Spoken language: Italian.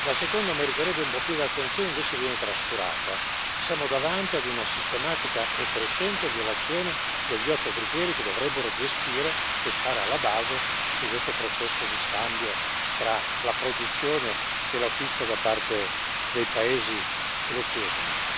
La seconda meriterebbe un po' più di attenzione e invece viene trascurata siamo davanti a una sistematica e crescente violazione degli otto criteri che dovrebbero gestire e stare alla base di questo processo di scambio tra la produzione e l'acquisto da parte dei paesi che lo chiedono.